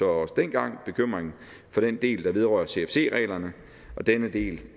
også dengang bekymring for den del der vedrører cfc reglerne og denne del